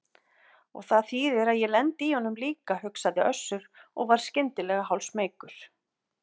Og það þýðir að ég lendi í honum líka, hugsaði Össur og varð skyndilega hálfsmeykur.